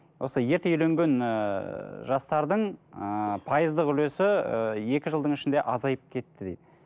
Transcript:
осы ерте үйленген ыыы жастардың ыыы пайыздық үлесі ы екі жылдың ішінде азайып кетті дейді